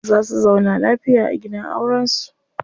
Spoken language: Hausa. Za su zauna lafiya a gidan auren su.